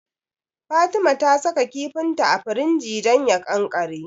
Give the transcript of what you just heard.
Fatima ta saka kifinta a firinji don ya ƙanƙare.